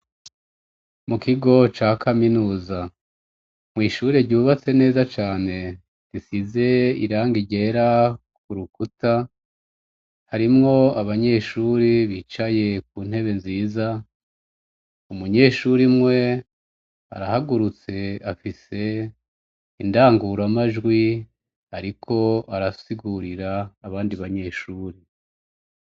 Mu kigo ca kaminuza mwishure ryubatse neza cane tisize iranga ryera ku rukuta harimwo abanyeshuri bicaye ku ntebe nziza umunyeshuri mwe arahagurutse afisea rangura amajwi, ariko arasigurira abandi banyeshuri.